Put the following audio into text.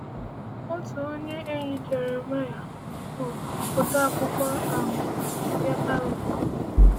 Otu onye enyi Jeremaịa bụ odeakwụkwọ um ya Baruk.